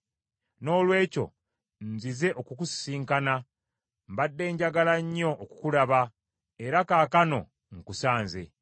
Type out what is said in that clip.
Noolwekyo nzize okukusisinkana, mbadde njagala nnyo okukulaba, era kaakano nkusanze.